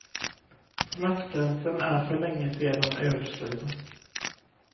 Smärtgränsen är för länge sedan överskriden.